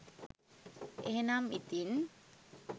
එහෙමනම් ඉතිං